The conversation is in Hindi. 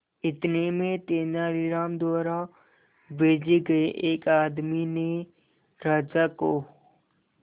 इतने में तेनालीराम द्वारा भेजे गए एक आदमी ने राजा को